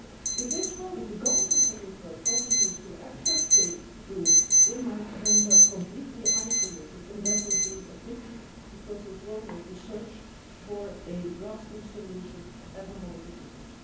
If the Government of Israel continues to act as they do, they might end up completely isolated, and that would be a pity because it would make the search for a lasting solution even more difficult.